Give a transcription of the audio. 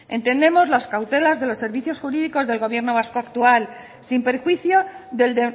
entendemos las cautelas de los servicios jurídicos del gobierno vasco actual sin perjuicio del